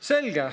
Selge.